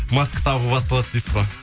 маска тағу басталады дейсіз ғой